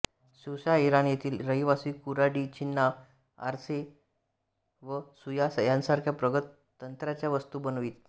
स्यूसा Iran येथील रहिवासी कुऱ्हाडी छिन्न्या आरसे व सुया यांसारख्या प्रगत तंत्राच्या वस्तू बनवीत